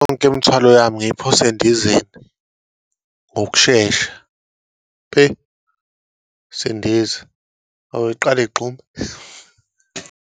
Yonke imithwalo yami ngiyiphosa endizeni ngokushesha. Zindize or iqala igxume.